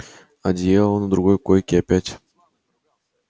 одеяло на другой койке опять